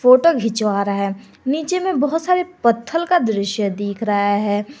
Photo खिंचवा रहा है नीचे में बहोत सारे पत्थल का दृश्य दिख रहा है।